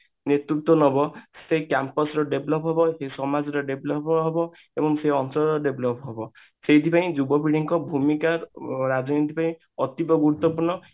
ନେତୃତ୍ଵ ନବ ସେ Campus ର develop ହେବ ସେ ସମାଜର develop ହେବ ଏବଂ ସେ ଅଞ୍ଚଳର develop ହବ ସେଇଠି ପାଇଁ ଯୁବପିଢୀଙ୍କ ଭୂମିକା ଅ ରାଜନୈତିକ ରେ ଅତି ଗୁରୁତ୍ବପୂର୍ଣ